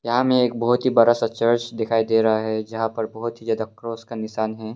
यहां में एक बहुत ही बड़ा सा चर्च दिखाई दे रहा है जहां पर बहुत ही ज्यादा क्रॉस का निशान है।